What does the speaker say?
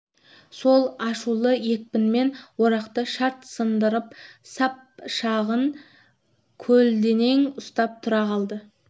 сол ашулы екпінмен орақты шарт сындырып сап жағын көлденең ұстап тұра қалды